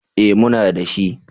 Eh muna dashi.